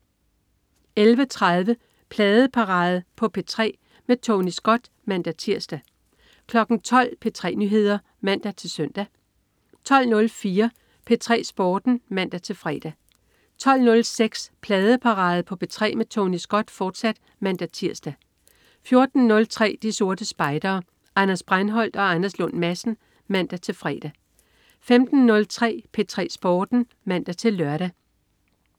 11.30 Pladeparade på P3 med Tony Scott (man-tirs) 12.00 P3 Nyheder (man-søn) 12.04 P3 Sporten (man-fre) 12.06 Pladeparade på P3 med Tony Scott, fortsat (man-tirs) 14.03 De Sorte Spejdere. Anders Breinholt og Anders Lund Madsen (man-fre) 15.03 P3 Sporten (man-lør)